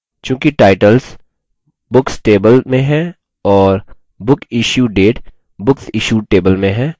चूँकि टाइटल्स शीर्षक books table में हैं और book issue date booksissued table में है